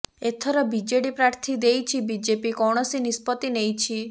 ଏଥର ବିଜେଡି ପ୍ରାର୍ଥୀ ଦେଇଛି ବିଜେପି କୌଣସି ନିଷ୍ପତ୍ତି ନେଇଛି